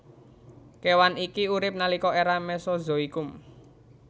Kèwan iki urip nalika èra Mesozoikum